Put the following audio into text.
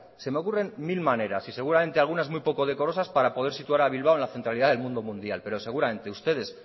se me ocurren mil maneras y seguramente algunas muy poco decorosas para poder situar a bilbao en la centralidad del mundo mundial pero seguramente ustedes